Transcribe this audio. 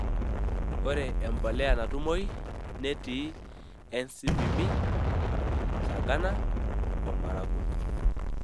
Ore empolea natumoi netii NCPB Sagana o Maragua.